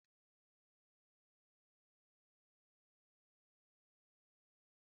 Èé, enyochara m ụbọchị ngwụcha tupu m zụrụ ị̀ndómị́